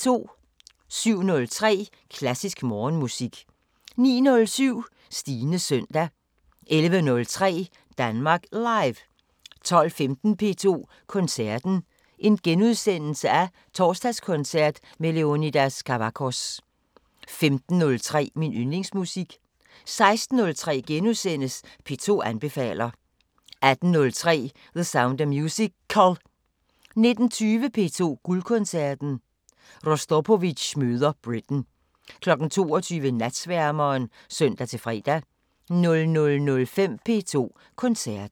07:03: Klassisk Morgenmusik 09:07: Stines søndag 11:03: Danmark Live 12:15: P2 Koncerten: Torsdagskoncert med Leonidas Kavakos * 15:03: Min Yndlingsmusik 16:03: P2 anbefaler * 18:03: The Sound of Musical 19:20: P2 Guldkoncerten: Rostropovitj møder Britten 22:00: Natsværmeren (søn-fre) 00:05: P2 Koncerten